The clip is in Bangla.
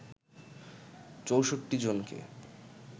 ৬৪ জনকে